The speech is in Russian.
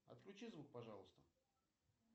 отключи звук пожалуйста